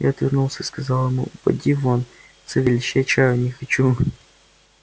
я отвернулся и сказал ему поди вон савельич я чаю не хочу